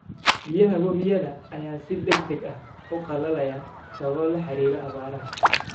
Biyaha webiyada ayaa si degdeg ah u qalalaaya sababo la xiriira abaaraha.